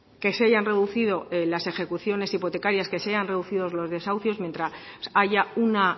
que se hayan reducido las ejecuciones hipotecarias que se hayan reducido los desahucios mientras que haya una